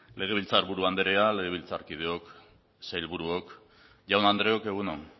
legebiltzar buru anderea legebiltzarkideok sailburuok jaun andreok egun on